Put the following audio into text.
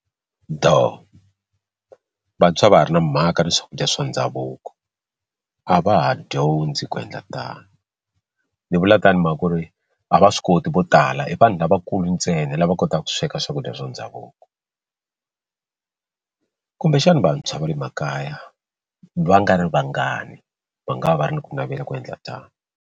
Doh vantshwa a va ha ri na mhaka na swakudya swa ndhavuko a va ha dyondzi ku endla tano ni vula tano i mhaka ku ri a va swi koti vo tala i va ni lavakulu ntsena lava kotaka ku sweka swakudya swa ndhavuko kumbexana vantshwa va le makaya va nga ri vangani va nga va va ri ni ku navela ku endla tano.